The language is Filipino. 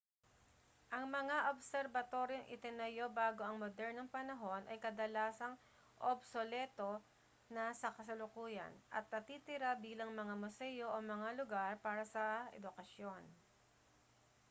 ang mga obserbatoryong itinayo bago ang modernong panahon ay kadalasang obsoleto na sa kasalukuyan at natitira bilang mga museo o mga lugar para sa edukasyon